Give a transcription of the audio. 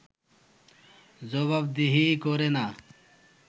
জবাবদিহি করে না